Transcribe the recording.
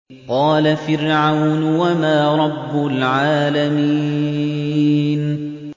قَالَ فِرْعَوْنُ وَمَا رَبُّ الْعَالَمِينَ